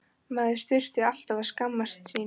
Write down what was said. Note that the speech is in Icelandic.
Maður þurfti alltaf að skammast sín.